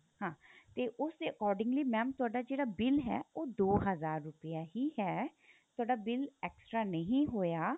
ਹਾਂ ਤੇ ਉਸ ਦੇ accordingly mam ਤੁਹਾਡਾ ਜਿਹੜਾ bill ਹੈ ਉਹ ਦੋ ਹਜ਼ਾਰ ਰੁਪਇਆ ਹੀ ਹੈ ਤੁਹਾਡਾ bill extra ਨਹੀਂ ਹੋਇਆ